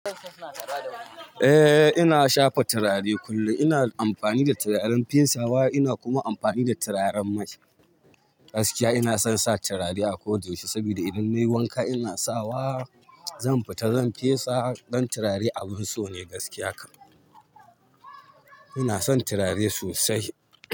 Eh ina shafa turare kullum, ina amfani da turaren fesawa ina kuma amfani da turaren mai. Gaskiya ina son sa turare a ko da yaushe saboda idan nayi wanka ina sawa zan fita zan fesa, ɗan turare abin so ne gaskiya kam, ina son turare sosai.